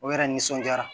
O yɛrɛ nisɔndiyara